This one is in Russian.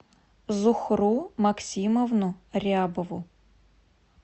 зухру максимовну рябову